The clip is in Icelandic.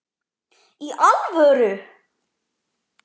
Í alvöru!?